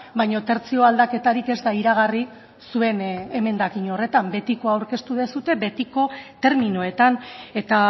baina tertzio aldaketarik ez da iragarri zuen emendakin horretan betikoa aurkeztu duzue betiko terminoetan eta